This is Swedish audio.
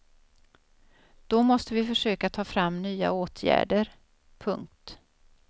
Då måste vi försöka ta fram nya åtgärder. punkt